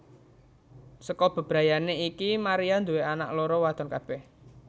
Saka bebrayané iki Maria nduwé anak loro wadon kabèh